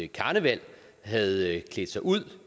karneval havde klædt sig ud